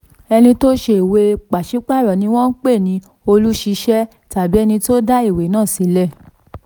ẹni tó ṣe ìwé pàṣípààrọ̀ ni wọ́n ń pè ní olùṣèṣẹ̀ tàbí ẹni tó dá ìwé náà sílẹ̀.